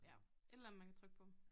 Ja et eller andet man kan trykke på